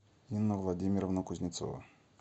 инна владимировна кузнецова